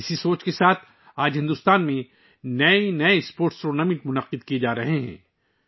اسی سوچ کو ذہن میں رکھتے ہوئے آج بھارت میں کھیلوں کے نئے ٹورنامنٹ منعقد کیے جارہے ہیں